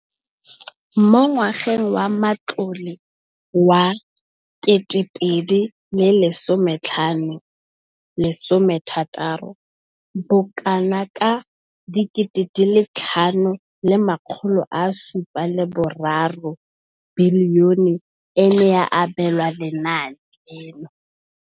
Mo ngwageng wa matlole wa 2015,16, bokanaka R5 703 bilione e ne ya abelwa lenaane leno.